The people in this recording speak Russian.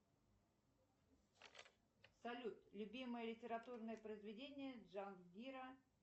салют любимое литературное произведение джангира